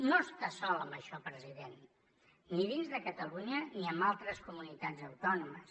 no està sol en això president ni dins de catalunya ni amb altres comunitats autònomes